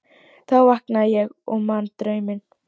Þá vaknaði ég og man drauminn.